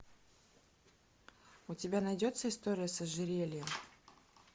у тебя найдется история с ожерельем